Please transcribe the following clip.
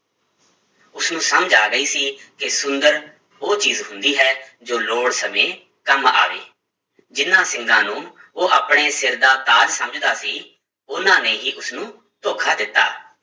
ਉਸਨੂੰ ਸਮਝ ਆ ਗਈ ਸੀ ਕਿ ਸੁੰਦਰ ਉਹ ਚੀਜ਼ ਹੁੰਦੀ ਹੈ ਜੋ ਲੋੜ ਸਮੇਂ ਕੰਮ ਆਵੇ, ਜਿਹਨਾਂ ਸਿੰਗਾਂ ਨੂੰ ਉਹ ਆਪਣੇ ਸਿਰ ਦਾ ਤਾਜ ਸਮਝਦਾ ਸੀ, ਉਹਨਾਂ ਨੇ ਹੀ ਉਸਨੂੰ ਧੋਖਾ ਦਿੱਤਾ